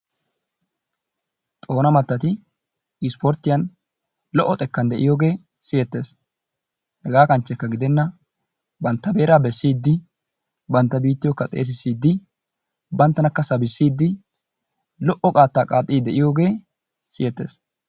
Xoona mattati isporttiyan lo'o xekkan de'iyoge siyettes. Hegaa kanchchekka gidenna bantta beeraa bessiiddi bantta biittiyokka xeesisaiiddi banttanakka sabissiiddi lo'o qaattaa qaaxxiiddi de'iyogee siyettes.